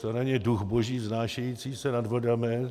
To není duch boží vznášející se nad vodami.